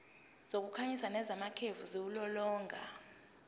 zokukhanyisa nezamakhefu ziwulolonga